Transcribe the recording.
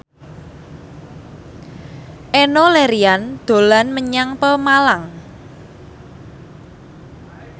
Enno Lerian dolan menyang Pemalang